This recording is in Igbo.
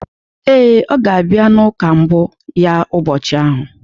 Ee, ọ ga-abịa ụka mbụ ya ụbọchị ahụ.